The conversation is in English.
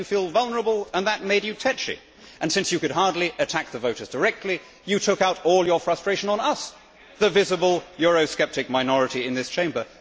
It made you feel vulnerable and that made you tetchy and, since you could hardly attack the voters directly, you took out all your frustration on us, the visible Eurosceptic minority in this Chamber.